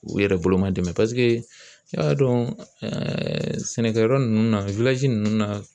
U yɛrɛ bolo madɛmɛ i y'a dɔn sɛnɛkɛyɔrɔ ninnu na ninnu na